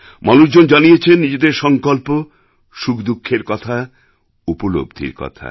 মানুষজন জানিয়েছেন নিজেদের সংকল্প সুখদুঃখের কথা উপলব্ধির কথা